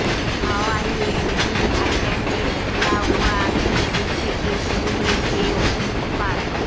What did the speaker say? হাওয়াইয়ের big আইল্যান্ডের Kilauea আগ্নেয়গিরি থেকে শুরু হয়েছে অগ্ন্যুৎপাত